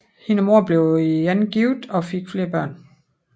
Hendes mor blev igen gift og fik flere børn